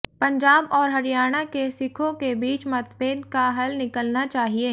पंजाब और हरियाणा के सिखों के बीच मतभेद का हल निकलना चाहिए